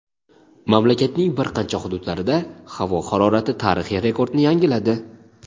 Mamlakatning bir qancha hududlarida havo harorati tarixiy rekordni yangiladi.